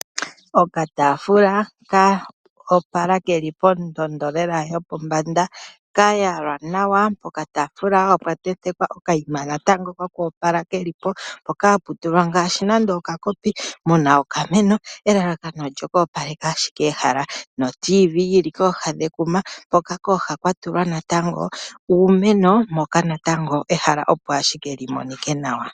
Okataafula ka opala ke li pondondo yopombanda ka yalwa nawa. Pokataafula opwa tentekwa okayima koku opaleka ke li mpoka hapu tulwa nando okakopi mu na okameno, elalakano plyoku opaleka ashike ehala notiivii yi li kooha dhekuma hoka kooha kwa tulwa natango uumeno moka natango ehala opo ashike li monike nawa.